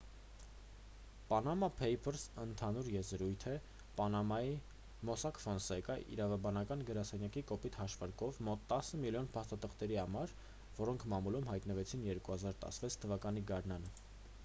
«պանամա փեյփըրս»-ն ընդհանուր եզրույթ է պանամայի «մոսակ ֆոնսեկա» իրավաբանական գրասենյակի կոպիտ հաշվարկով մոտ տասը միլիոն փաստաթղթերի համար որոնք մամուլում հայտնվեցին 2016 թ.-ի գարնանը:»